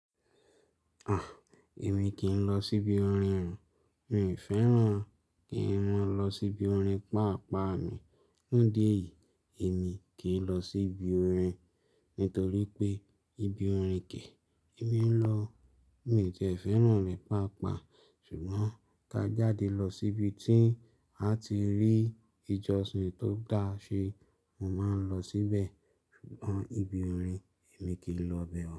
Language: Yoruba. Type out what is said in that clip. À, èmi kì í lọ síbi orin o. Mi ò fẹ́ràn kí mọ́ lọ síbi orin pa pá ni. Nìdi éyí, èmi kì í lọ síbi orin, nítorí pé ibi orin kè e mi lọ. Mi ò ti e fẹ́ràn rẹ̀ paapaa. Ṣùgbọ́n ká jáde lọ síbi tí a ti rí ìjọsìn tó dáa ṣe, mo máa ń lọ síbẹ̀. Ṣùgbọ́n ibi orin èmi kì í lọ bẹ ọ.